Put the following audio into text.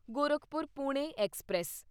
Gorakhpur Pune express